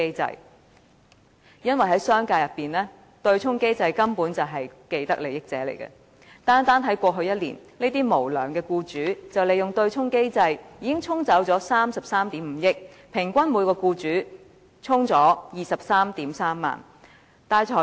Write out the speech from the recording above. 反對的原因，是商界根本是對沖機制的既得利益者，單單在過去一年，這些無良僱主利用對沖機制，已經對沖了33億 5,000 萬元，平均每名僱主對沖了 233,000 元。